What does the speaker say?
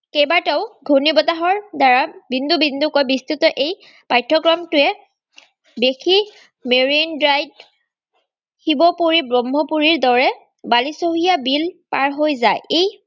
কেইবাটাও ঘুৰ্ণী বতাহৰ দ্বাৰা বিন্দু-বিন্দুকৈ বিষ্টৃত এই পাঠ্যক্ৰমটোৱে দেখি marine drive শিৱপুৰী, ব্ৰহ্মপুৰীৰদৰে বাৰেচহৰীয়া বিল পাৰহৈ যায়। এই